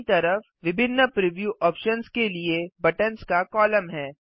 दायीं तरफ विभिन्न प्रिव्यू ऑप्शन्स के लिए बटन्स का कॉलम है